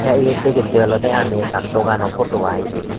tay yot digitte olode ami ekkan dogano photo ai ibey.